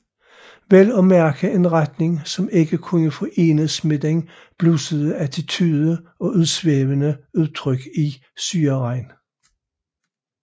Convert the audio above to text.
Vel at mærke en retning som ikke kunne forenes med den bluesede attitude og udsvævende udtryk i Syreregn